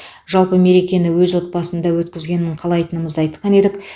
жалпы мерекені әркім өз отбасында өткізгенін қалайтынымызды айтқан едік